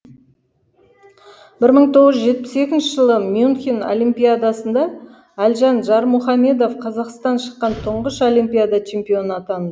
бір мың тоғыз жүз жетпіс екінші жылы мюнхен олимпиадасында әлжан жармұхамедов қазақтан шыққан тұңғыш олимпиада чемпионы атанды